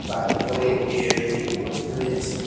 তার উপরে একটি এল_ই_ডি ঘড়ি রয়েছে।